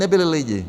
Nebyli lidi.